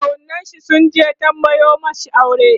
kawunnin shi sunje tambayo mashi aure